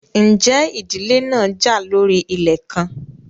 Ǹjẹ́ ìdílé náà já lórí ilẹ̀ kan?